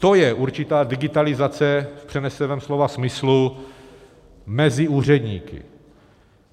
To je určitá digitalizace v přeneseném slova smyslu mezi úředníky.